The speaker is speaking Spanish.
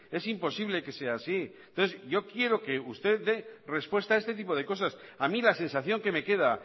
es imposible que sea así entonces yo quiero que usted dé respuesta a este tipo de cosas a mí la sensación que me queda